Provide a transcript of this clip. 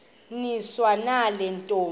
niswa nale ntombi